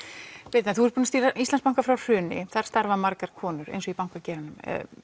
birna þú ert búin að stýra Íslandsbanka frá hruni þar starfa margar konur eins og í bankageiranum